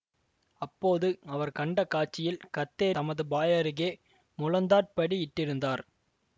அப்போது அவர் கண்ட காட்சியில் கத்தேரி தமது பாய் அருகே முழந்தாட்படியிட்டிருந்தார்